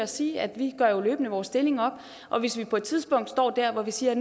sige at vi jo løbende gør vores stilling op hvis vi på et tidspunkt står der hvor vi siger at